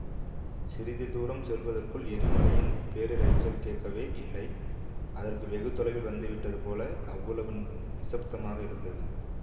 சிறிது தூரம் செல்லுவதற்குள் எரிமலையின் பேரிரைச்சல் கேட்கவே இல்லை அதற்கு வெகு தொலைவில் வந்துவிட்டது போல அவ்வளவு நிசப்தமாக இருந்தது